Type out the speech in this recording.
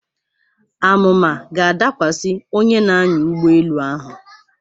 Àmụ̀mà ga-adakwasị onye na-anya ụgbọelu ahụ.